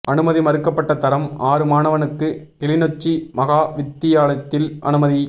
அனுமதி மறுக்கப்பட்ட தரம் ஆறு மாணவனுக்கு கிளிநொச்சி மகா வித்தியாலயத்தில் அனுமதி